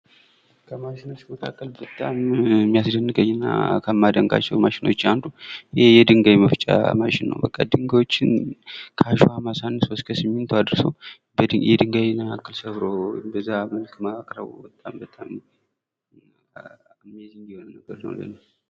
ከማሽኖች መካከል በጣም የሚያስደንቀኝ እና ከማደንቃቸው ማሽኖች አንዱ የድንጋይ መፍጫ ማሽን ነው በቃ ድንጋዮችን ከአሽዋም አሳንሶ እስከ ሲሚንቶ አድርሶ የድንጋይን ያክል ሰብሮ በዛ መልክ ማቅረቡ በጣም በጣም አሜይዚንግ የሆነ ነገር ነው ለእኔ ።